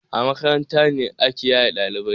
A makaranta ne ya yi ladabi.